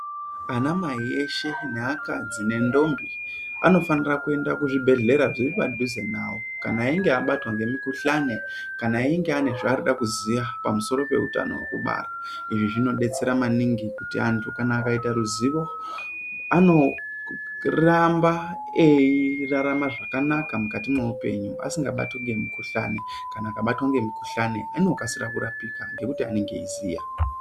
Ana mai eshe ne akadzi ne ndombi vanofanira kuenda kuzvi bhedhlera zviri padhize navo kana einge abatwa nemi kuhlane kana einge eida kuzova pamusoro pehutano heeku bara izvi zvino detsera maningi kuti antu kana akaita ruzivo anoramba eirarama zvakanaka mukati mweulenyu asingabatwi nemi kuhlane kana akabatwa nemikuhlane anokasika kurapika ngekuti anenge ei ziya.